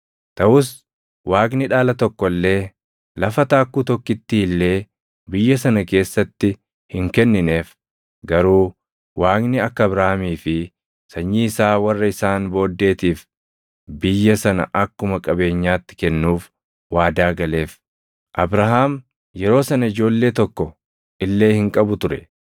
Taʼus Waaqni dhaala tokko illee, lafa taakkuu tokkittii illee biyya sana keessatti hin kennineef; garuu Waaqni akka Abrahaamii fi sanyii isaa warra isaan booddeetiif biyya sana akkuma qabeenyaatti kennuuf waadaa galeef. Abrahaam yeroo sana ijoollee tokko illee hin qabu ture.